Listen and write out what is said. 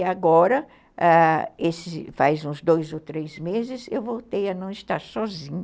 E agora, ãh, faz uns dois ou três meses, eu voltei a não estar sozinha.